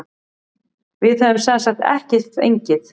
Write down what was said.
Við höfum semsagt ekki fengið.